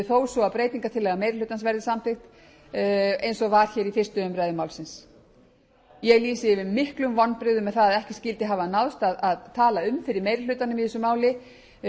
þó svo að breytingartillaga meiri hlutans verði samþykkt og var hér í fyrstu umræðu málsins ég lýsi yfir miklum vonbrigðum með það að ekki skyldi hafa náðst að tala um fyrir meiri hlutanum í þessu máli